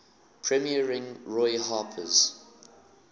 premiering roy harper's